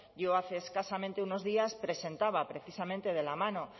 yo hace escasamente unos días presentaba precisamente de la mano